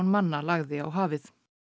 manna lagði á hafið